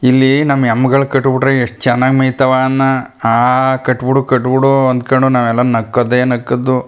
ಇಲ್ಲಿ ನಮ್ಮ ಎಮ್ಮಿಗಳು ಕಟ್ಟಬಿಟ್ಟ್ರೆ ಎಷ್ಟ ಚನ್ನಾಗಿ ಮೇಯ್ ತವೆ ಅನ್ನಾ ಆಹ್ ಕಟ್ಟ್ ಬಿಡು ಕಟ್ಟ್ ಬಿಡು ಅನ್ನಕೊಂಡು ನಾವೆಲ್ಲಾ ನಕ್ಕದೆ ನಕ್ಕದು.